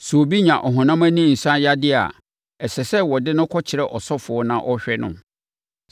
“Sɛ obi nya ɔhonam ani nsaneyadeɛ a, ɛsɛ sɛ wɔde no kɔkyerɛ ɔsɔfoɔ na ɔhwɛ no.